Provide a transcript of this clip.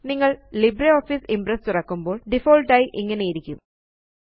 നിങ്ങള് LibreOffice Impress തുറക്കുമ്പോള് default ആയി ഇങ്ങനെയിരിക്കും